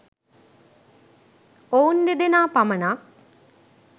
ඔවුන් දෙදෙනා පමණක්